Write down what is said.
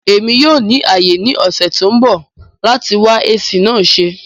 Emi yoo ni aye ni ọsẹ to nbọ lati wa AC naa se.